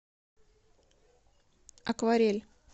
акварель